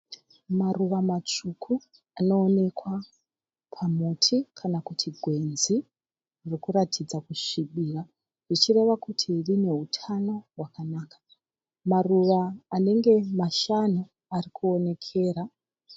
Maruva matsvuku anoonekwa pamuti kana kuti gwenzi rikuratidza kusvibira zvichireva kuti rine utano hwakanaka. Maruva anenge mashanu arikuonekera .